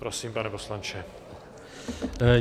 Prosím, pane poslanče.